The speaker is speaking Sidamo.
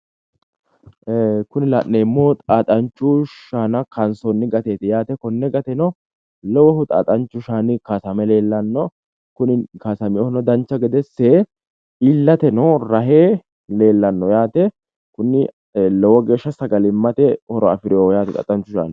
Ee kuni la'neemmohu xaaxanchu shaana kaansoonni gateeti yaate konne gateno lowohu xaaxanchu shaani kaasame leellanno kuni kaasameyoohuno dancha gede ikke iillateno rahe leellanno yaate kuni lowo geeshsha sagalimmate horo afireyooho yaate xaaxanchu shaani.